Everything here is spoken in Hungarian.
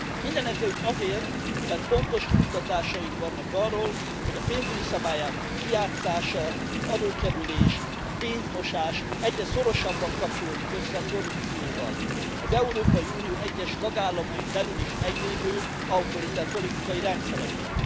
Mindenekelőtt azért, mert pontos kimutatásaink vannak arról, hogy a pénzügyi szabályozás kijátszása, az adókerülés, a pénzmosás egyre szorosabban kapcsolódik össze a korrupcióval, az Európai Unió egyes tagállamain belül is meglévő autoriter politikai rendszerekkel.